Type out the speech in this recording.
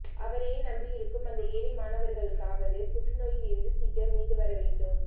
அவரையே நம்பியிருக்கும் அந்த ஏழை மாணவர்களுக்காகவாவது புற்றுநோயில் இருந்து சீக்கிரம் மீண்டு வர வேண்டும்